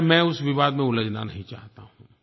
खैर मैं उस विवाद में उलझना नहीं चाहता हूँ